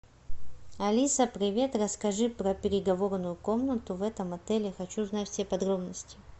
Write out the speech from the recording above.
алиса привет расскажи про переговорную комнату в этом отеле хочу знать все подробности